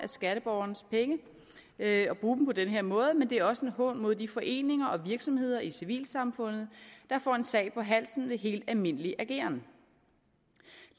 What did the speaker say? skatteborgernes penge at bruge dem på den her måde men det er også en hån mod de foreninger og virksomheder i civilsamfundet der får en sag på halsen ved helt almindelig ageren